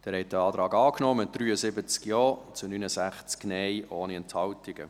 Sie haben diesen Antrag angenommen, mit 73 Ja- zu 69 Nein-Stimmen ohne Enthaltungen.